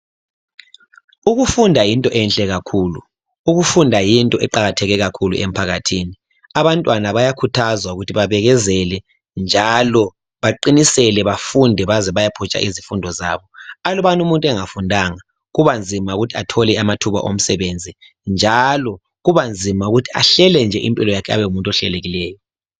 Ukufunda yinto enhle kakhulu, ukufunda kuyinto eqakatheke kakhulu emphakathini. Abantwana bayakhuthazwa ukuthi babekezele njalo baqinisele bafunde baze beyephutsha izifundo zaba. Alubana umuntu engafundanga kuba nzima ukuthi athole amathuba omsebenzi njalo kuba nzima ukuthi ahlele nje impilo yakhe abe ngumuntu ohlelekileyo